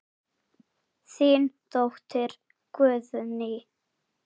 Þín dóttir, Guðný.